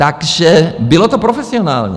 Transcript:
Takže bylo to profesionální.